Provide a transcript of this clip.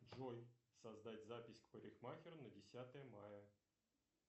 джой создать запись к парикмахеру на десятое мая